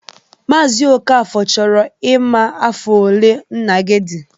Maazi Okafor chọrọ ịma afọ olee nna gị dị.